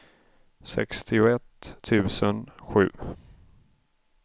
sextioett tusen sju